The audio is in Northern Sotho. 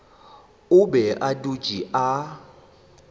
o be a dutše a